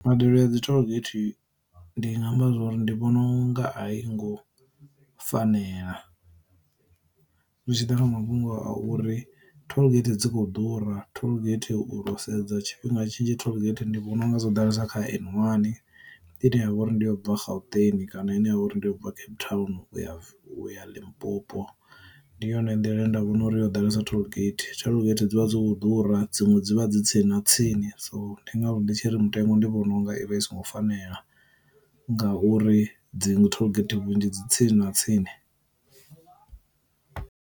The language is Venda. Mbadelo ya dzi tollgate ndi nga amba zwori ndi vhona u nga a i ngo fanela, zwi tshi ḓa kha mafhungo a uri tollgate dzi kho ḓura tollgate u ro sedza tshifhinga tshinzhi tollgate ndi vhona unga zwo ḓalesa kha N wani ine yavha uri ndi u bva gauteng kana ine ya vha uri ndi u bva cape town u ya Limpopo, ndi yone nḓila nda vhona uri yo ḓalesa tollgate. Tollgate dzivha dzo ḓura dziṅwe dzi vha dzi tsini na tsini. So ndi ngazwo ndi tshi ri mutengo ndi vhona unga i vha i songo fanela ngauri dzi tollgate vhunzhi dzi tsini na tsini.